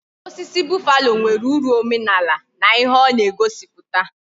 Osisi buffalo nwere uru omenaala na ihe ona egosiputa